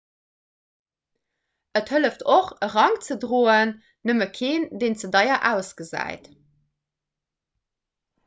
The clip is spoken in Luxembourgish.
et hëlleft och e rank ze droen nëmme keen deen ze deier ausgesäit